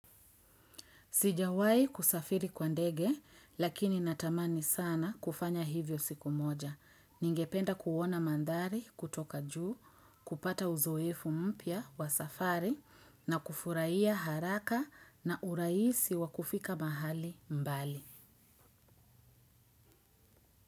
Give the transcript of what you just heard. Sijawahi kusafiri kwa ndege lakini natamani sana kufanya hivyo siku moja. Ningependa kuona mandhari kutoka juu, kupata uzoefu mpya wa safari na kufurahia haraka na urahisi wa kufika mahali mbali.